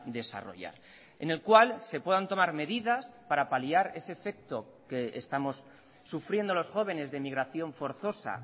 desarrollar en el cual se puedan tomar medidas para paliar ese efecto que estamos sufriendo los jóvenes de migración forzosa